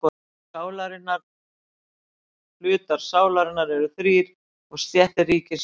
Hlutar sálarinnar eru þrír og stéttir ríkisins líka.